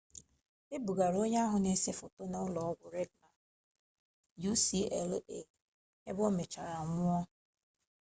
e bugara onye ahụ na-ese foto na ụlọ ọgwụ reagan ucla ebe o mechara nwụọ